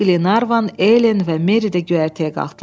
Bu vaxt Qlervan, Elen və Meri də göyərtəyə qalxdılar.